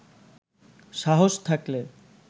সাহস থাকলে